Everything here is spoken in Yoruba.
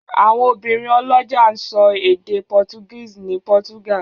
Àwọn obìnrin ọlọ́jà ń sọ èdè Portuguese ní Portugal.